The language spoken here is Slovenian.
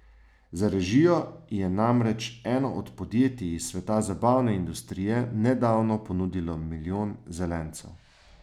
Za režijo ji je namreč eno od podjetij iz sveta zabavne industrije nedavno ponudilo milijon zelencev.